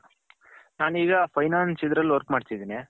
ನಾನು ಈಗ finance ಇದರಲ್ಲಿ work ಮಾಡ್ತಿದಿನಿ.